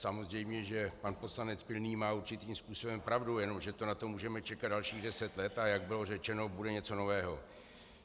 Samozřejmě že pan poslanec Pilný má určitým způsobem pravdu, jenomže to na to můžeme čekat dalších deset let, a jak bylo řečeno, bude něco nového.